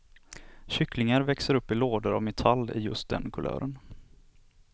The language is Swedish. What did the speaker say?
Kycklingar växer upp i lådor av metall i just den kulören.